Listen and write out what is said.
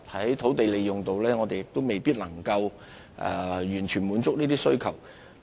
在土地利用方面，我們也未必能夠完全滿足這些需求。